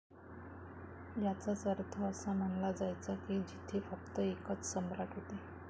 याचाच अर्थ असा मनाला जायचा कि जिथे फक्त एकच सम्राट होते.